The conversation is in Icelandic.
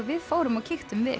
við fórum og kíktum við